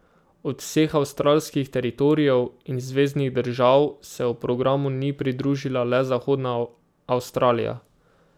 Od vseh avstralskih teritorijev in zveznih držav se programu ni pridružila le Zahodna Avstralija.